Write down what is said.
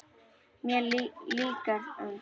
Mér líka um þig.